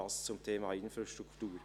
dies zum Thema Infrastruktur.